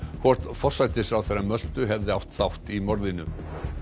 hvort forsætisráðherra Möltu hefði átt þátt í morðinu